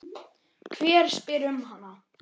Hver spyr um hana?